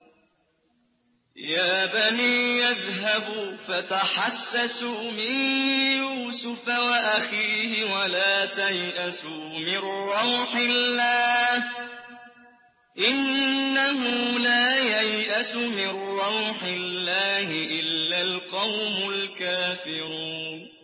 يَا بَنِيَّ اذْهَبُوا فَتَحَسَّسُوا مِن يُوسُفَ وَأَخِيهِ وَلَا تَيْأَسُوا مِن رَّوْحِ اللَّهِ ۖ إِنَّهُ لَا يَيْأَسُ مِن رَّوْحِ اللَّهِ إِلَّا الْقَوْمُ الْكَافِرُونَ